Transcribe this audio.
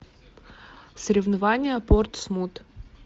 соревнования портсмут